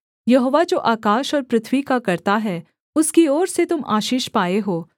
यहोवा जो आकाश और पृथ्वी का कर्ता है उसकी ओर से तुम आशीष पाए हो